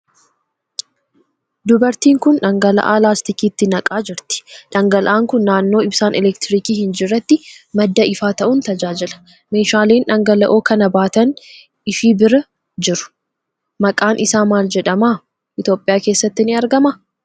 Dubartiin kun dhangalaa'aa laastikiitti naqaa jirti. Dhangalaa'aan kun naannoo ibsaan elektirikii hin jirretti madda ifaa ta'uun tajaajila. Meeshaaleen dhangala'oo kana baatan ishii bura jiru. Maqaan isaa maal jedhama? Itoophiyaa keessatti ni argamaa?